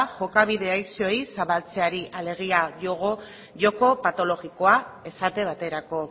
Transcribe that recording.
jokabide adikzioei zabaltzeari alegia joko patologikoa esate baterako